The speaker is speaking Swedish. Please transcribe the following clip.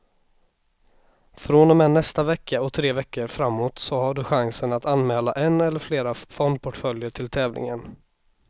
Från och med nästa vecka och tre veckor framåt har du chansen att anmäla en eller flera fondportföljer till tävlingen.